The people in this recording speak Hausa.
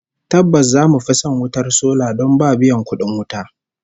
Tabbas zamu fi son wutar sola don ba biyan kudin wuta